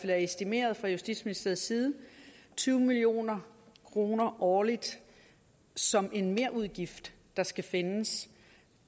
er estimeret fra justitsministeriets side tyve million kroner årligt som en merudgift der skal findes